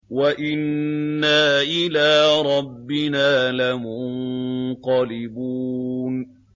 وَإِنَّا إِلَىٰ رَبِّنَا لَمُنقَلِبُونَ